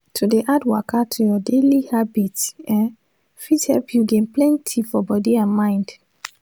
to dey add waka to your daily habit eh fit help you gain plenty for body and mind